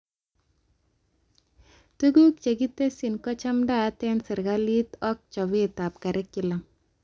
Tuguk chekitesyi kochadaat eng serikalit ak chobetab curriculum